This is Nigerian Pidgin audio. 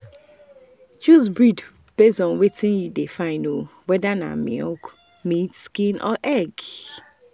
choose breed based on wetin you dey find—whether na milk meat skin or egg.